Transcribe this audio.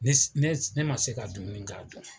Ne ma se ka dumuni k'a don.